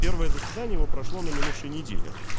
первое заседание его прошло на минувшей неделе